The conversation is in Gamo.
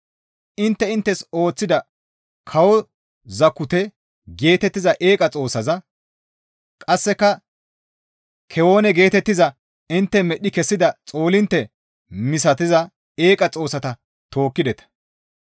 Intte inttes ooththida, ‹Kawo Zakute› geetettiza eeqa xoossaza; qasseka, ‹Kewene› geetettiza intte medhdhi kessida xoolintte misatiza eeqa xoossata tookkideta.